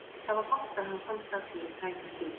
Það var gott að hann komst að því í tæka tíð.